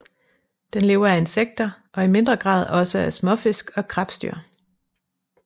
Den lever af insekter og i mindre grad også af småfisk og krebsdyr